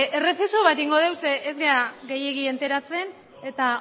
errezeso bat egingo dugu zeren ez gara gehiegi enteratzen eta